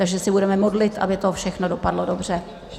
Takže se budeme modlit, aby to všechno dopadlo dobře.